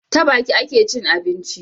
Ta Baki akecin abinci